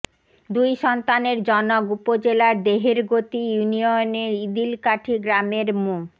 দুই সন্তানের জনক উপজেলার দেহেরগতি ইউনিয়নের ইদিলকাঠি গ্রামের মো